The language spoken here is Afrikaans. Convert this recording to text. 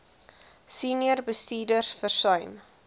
senior bestuurders versuim